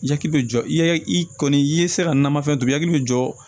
Yaki bɛ jɔ i kɔni i ye sira nanfɛn to ye